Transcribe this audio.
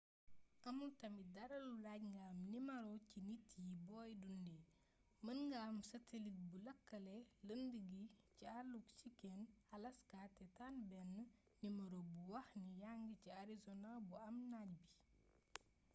amul tamit dara lu laaj nga am nimaro ci nit yi booy dundé mën nga am satellite buy lëkkale lënd gi ci alluk chiken alaska té tan bénn nimmaro buy waxni yangi ci arizona bu am naaj bi